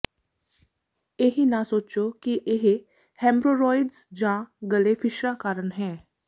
ਇਹ ਨਾ ਸੋਚੋ ਕਿ ਇਹ ਹੈਮਰੋਰੋਇਡਜ਼ ਜਾਂ ਗਲੇ ਫਿਸ਼ਰਾਂ ਕਾਰਨ ਹੈ